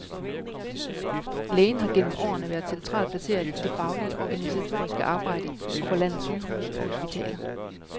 Lægen har gennem årene været centralt placeret i det faglige og organisatoriske arbejde på landets sygehuse og hospitaler.